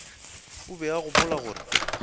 o be a gopola gore